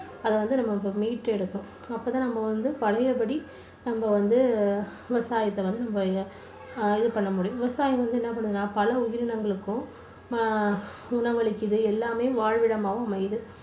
அதை வந்து நம்ம இப்போ மீட்டு எடுக்கணும் அப்பத்தான் நாம வந்து பழையபடி நம்ம வந்து விவசாயத்தை வந்து நம்ம இது பண்ண முடியும் விவசாயம் வந்து என்ன பண்ணுதுன்னா பல உயிரினங்களுக்கும் ஆஹ் உணவளிக்குது. எல்லாமே வாழ்விடமாவும் அமையுது.